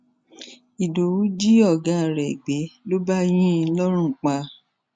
ìdòwú jí ọgá rẹ gbé ló bá yín in lọrùn pa